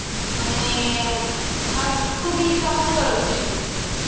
মানে আর খুবই চমৎকার অভিনয় করছে।